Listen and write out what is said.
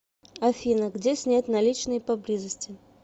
афина где снять наличные поблизости